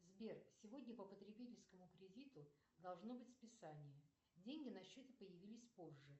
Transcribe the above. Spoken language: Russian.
сбер сегодня по потребительскому кредиту должно быть списание деньги на счете появились позже